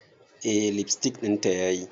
Eh lipstick dinta yayi.